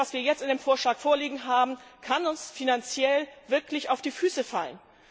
Denn das, was wir jetzt in dem Vorschlag vorliegen haben, kann uns finanziell wirklich auf die Füße fallen.